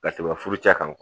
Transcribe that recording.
Ka tɛmɛ furucɛ kan